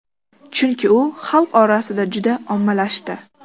Chunki u xalq orasida juda ommalashdi.